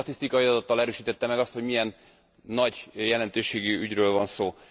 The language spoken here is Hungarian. Nagyon sok statisztikai adattal erősítette meg azt, hogy milyen nagy jelentőségű ügyről van szó.